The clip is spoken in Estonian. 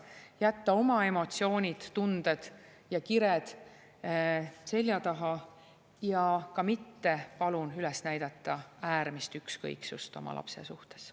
jätta oma emotsioonid, tunded ja kired selja taha ja palun mitte üles näidata äärmist ükskõiksust oma lapse suhtes.